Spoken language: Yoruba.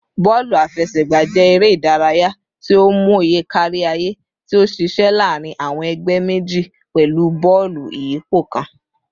Bọọlu afẹsẹgba jẹ ere idaraya ti o mọye kariaye ti o ṣiṣẹ laarin awọn ẹgbẹ meji pẹlu bọọlu iyipo kan